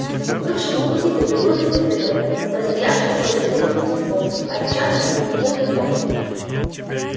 бывшему узнику вернули звездолёт простоявший всё это время под замком опечатанный и никем не тронутый